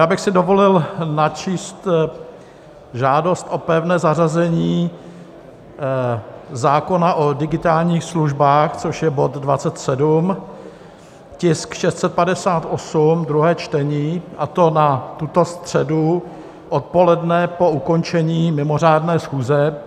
Já bych si dovolil načíst žádost o pevné zařazení zákona o digitálních službách, což je bod 27, tisk 658, druhé čtení, a to na tuto středu odpoledne po ukončení mimořádné schůze.